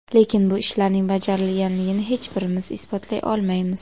Lekin bu ishlarning bajarilganini hech birimiz isbotlay olmaymiz.